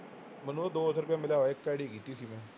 ਮੈਨੂੰ ਉਹਦਾ ਦੋ ਸੌ ਰੁਪਇਆ ਮਿਲਿਆ ਇੱਕ ID ਕੀਤੀ ਸੀ ਮੈਂ